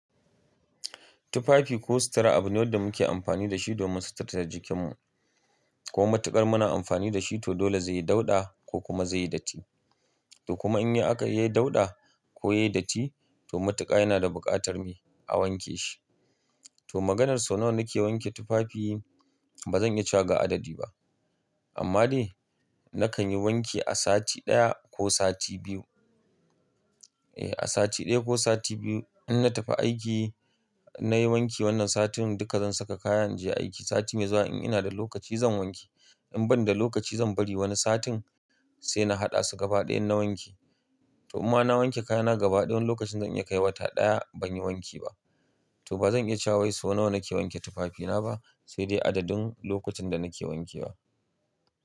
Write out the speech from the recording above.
Tufafi ko sutura abune wadda muke amfani da shi domin suturta jikinmu. Ko matuƙar muna amfani da shi, to dole zai yi dauɗa ko kuma zai yi datti. To kuma in aka yi dauɗa ko yayi datti, to matuƙa yana da buƙatar me a wanke shi. To maganar sau nawa nake wanke tufafi ba zan iya cewa ga adadi ba. Amma dai nakan yi wanki a sati ɗaya ko sati biyu. Eh, a sati ɗaya ko sati biyu. In na tafi aiki, nayi wanki wannan satin duka zan saka kaya inje aiki. Sati mai zuwa in ina da lokaci zan wanke. In ban da lokaci zan bari wani satin sai na haɗa su gaba ɗaya na wanke. To inma na wanke kayana gaba ɗaya wani lokacin zan iya kaiwa ɗaya ban yi wanki ba. To ba zan iya cewa sau nawa nake wanke tufafina ba, sai dai adadin lokutan da nake wanke ba.